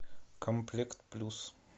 комплект плюс